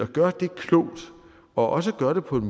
gøre det klogt og også gøre det på en